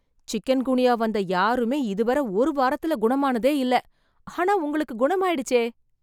chicken குனியா வந்த யாருமே இதுவர ஒரு வாரத்துல குணமானதே இல்ல ஆனா உங்களுக்கு குணமாயிடுச்சே